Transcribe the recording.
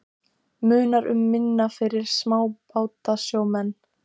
Munar um minna fyrir smábátasjómenn?